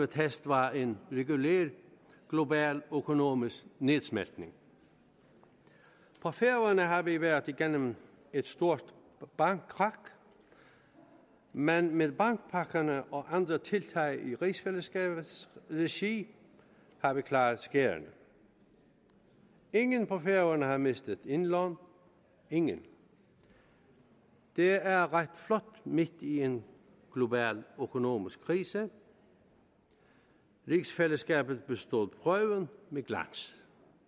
test var en regulær global økonomisk nedsmeltning på færøerne har vi været igennem et stort bankkrak men med bankpakkerne og andre tiltag i rigsfællesskabets regi har vi klaret skærene ingen på færøerne har mistet indlån ingen det er ret flot midt i en global økonomisk krise rigsfællesskabet bestod prøven med glans